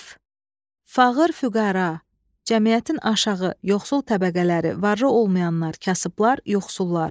F Fağır-füqəra, cəmiyyətin aşağı, yoxsul təbəqələri, varlı olmayanlar, kasıblar, yoxsullar.